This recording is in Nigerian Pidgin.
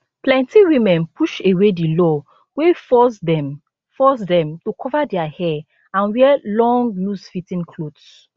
plenti women push away di law wey force dem force dem to cover dia hair and wear long loosefitting clothes